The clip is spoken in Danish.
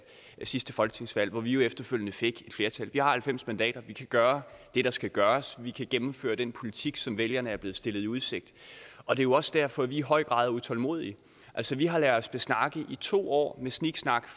sidste folketingsvalg hvor vi efterfølgende fik et flertal vi har halvfems mandater og vi kan gøre det der skal gøres vi kan gennemføre den politik som vælgerne er blevet stillet i udsigt og det er jo også derfor vi i høj grad er utålmodige altså vi har ladet os besnakke i to år med sniksnak